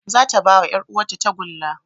Zata bawa yar uwar ta tagulla